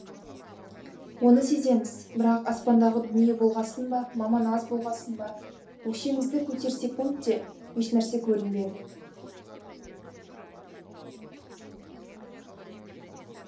оны сеземіз бірақ аспандағы дүние болғасын ба маман аз болғасын ба өкшемізді көтерсекунд те ешнәрсе көрінбеді